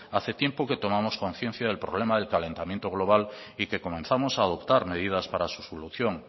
hace tiempo que tomamos conciencia del problema del calentamiento global y que comenzamos a adoptar medidas para su solución